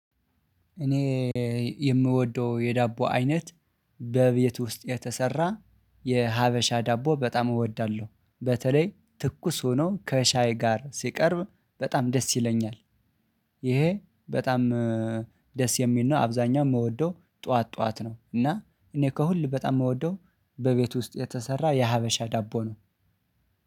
እኔ የምወደው የዳቦ አይነት በቤት ውስጥ የተሰራ የሀበሻ ዳቦ በጣም እወዳለሁ በተለይ ትኩስ ሆኖ ከሻይ ጋር ሲቀርብ በጣም ደስ ይለኛል። ይሄ በጣም ደስ የሚል ነው። አብዛኛው ምወደው ጠዋት ጠዋት ነው እና እኔ ከሁሉ በጣም ምወደው በቤት ውስጥ የተሰራ የሀበሻ ዳቦ ነው